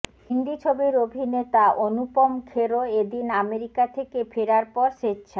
হিন্দি ছবির অভিনেতা অনুপম খেরও এদিন আমেরিকা থেকে ফেরার পর স্বেচ্ছা